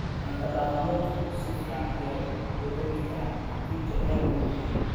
Cunto-dhaqameedku si fiican ayay u dhadhami karaan haddii jacayl lagu diyaariyo.